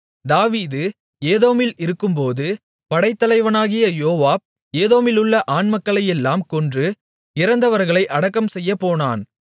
தாவீது ஏதோமில் இருக்கும்போது படைத்தலைவனாகிய யோவாப் ஏதோமிலுள்ள ஆண்மக்களையெல்லாம் கொன்று இறந்தவர்களை அடக்கம்செய்யப் போனான்